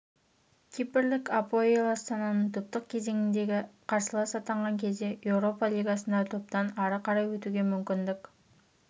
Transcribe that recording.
кипрлік апоэл астананың топтық кезеңдегі қарсыласы атанған кезде еуропа лигасында топтан ары қарай өтуге мүмкіндік